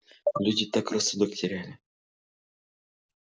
люди так рассудок теряли